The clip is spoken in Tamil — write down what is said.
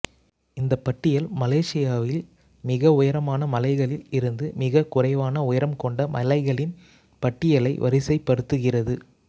இந்தப் பட்டியல் மலேசியாவில் மிக உயரமான மலைகளில் இருந்து மிகக் குறைவான உயரம் கொண்ட மலைகளின் பட்டியலை வரிசைப் படுத்துகிறது